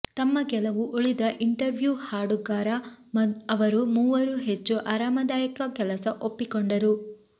ತಮ್ಮ ಕೆಲವು ಉಳಿದ ಇಂಟರ್ವ್ಯೂ ಹಾಡುಗಾರ ಅವರು ಮೂವರೂ ಹೆಚ್ಚು ಆರಾಮದಾಯಕ ಕೆಲಸ ಒಪ್ಪಿಕೊಂಡರು